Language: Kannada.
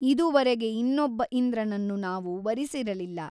ಇದುವರೆಗೆ ಇನ್ನೊಬ್ಬ ಇಂದ್ರನನ್ನು ನಾವು ವರಿಸಿರಲಿಲ್ಲ.